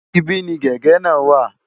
Ibí ni gègé náà wà.